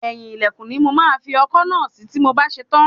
Eyin ilẹkun ni mo máa fi ọkọ́ náà sí tí mo bá ṣe tán.